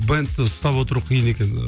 бэндті ұстап отыру қиын екен